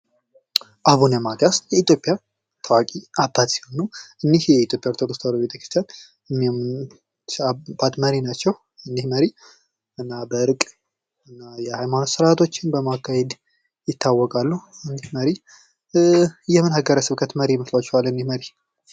አቡነ ማቲያስ የኢትዮጵያ ታዋቂ አባት ሲሆን እኒህ የኢትዮጵያ ተዋህዶ ቤተ-ክርስቲያን መሪ ናቸው። እኒህ መሪ በእርቅ እና የሀይማኖት ስርዓቶችን በማካሄድ ይታወቃሉ። የምን ሀገረ-ስብከት መሪ ይመስሏችኋል እኒህ መሪ?